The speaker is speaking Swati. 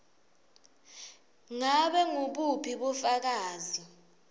ngabe ngubuphi bufakazi